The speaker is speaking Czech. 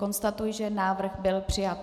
Konstatuji, že návrh byl přijat.